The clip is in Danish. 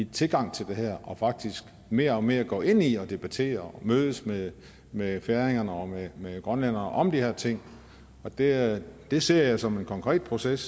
tilgang til det her og faktisk mere og mere går ind i at debattere og mødes med med færinger og med grønlændere om de her ting det det ser jeg som en konkret proces